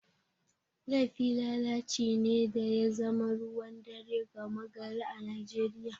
Laifi lalaci ne da ya zama ruwan dare gama gari a Najeriya.